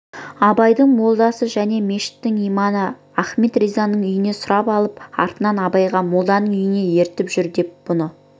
абайдың молдасы және мешіттің имамы ахмет ризаның үйін сұрап алып артынан абайға молданың үйіне ертіп жүр деп бұны